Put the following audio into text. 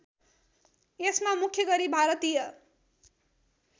यसमा मुख्य गरी भारतीय